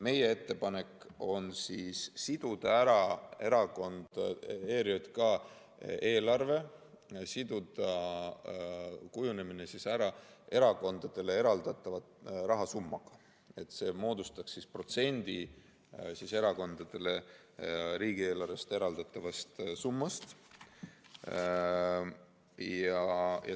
Meie ettepanek on siduda ERJK eelarve kujunemine erakondadele eraldatava rahasummaga, et see moodustaks teatud protsendi erakondadele riigieelarvest eraldatavast summast.